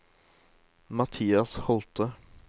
Mathias Holthe